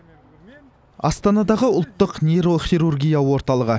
астанадағы ұлттық нейрохирургия орталығы